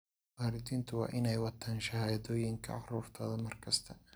Waalidiintu waa inay wataan shahaadooyinka carruurtooda mar kasta.